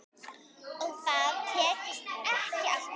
Og það tekst ekki alltaf.